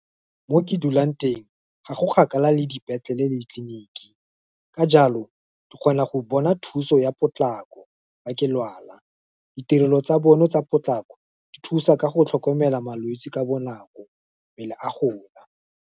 Mo ke dulang teng, ga go kgakala le dipetlele le tleliniki, ka jalo, ke kgona go bona thuso ya potlako, fa ke lwala, ditirelo tsa bone tsa potlako, di thusa ka go tlhokomela malwetsi ka bonako pele a gola.